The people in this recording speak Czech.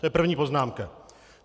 To je první poznámka.